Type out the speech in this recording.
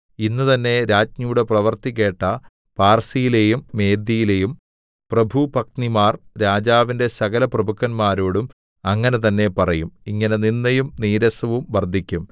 ഇന്ന് തന്നേ രാജ്ഞിയുടെ പ്രവൃത്തി കേട്ട പാർസ്യയിലെയും മേദ്യയിലെയും പ്രഭുപത്നിമാർ രാജാവിന്റെ സകലപ്രഭുക്കന്മാരോടും അങ്ങനെ തന്നേ പറയും ഇങ്ങനെ നിന്ദയും നീരസവും വർദ്ധിക്കും